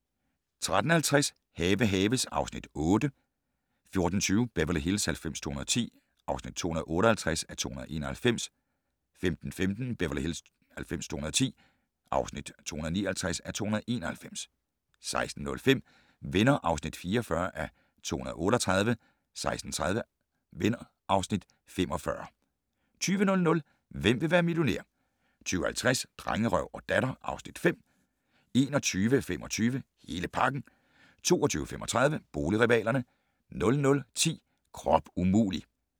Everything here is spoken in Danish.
13:50: Have haves (Afs. 8) 14:20: Beverly Hills 90210 (258:291) 15:15: Beverly Hills 90210 (259:291) 16:05: Venner (44:238) 16:30: Venner (Afs. 45) 20:00: Hvem vil være millionær? 20:50: Drengerøv og Datter (Afs. 5) 21:25: Hele pakken 22:35: Boligrivalerne 00:10: Krop umulig!